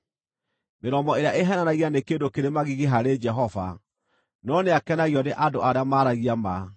Mĩromo ĩrĩa ĩheenanagia nĩ kĩndũ kĩrĩ magigi harĩ Jehova, no nĩakenagio nĩ andũ arĩa maaragia ma.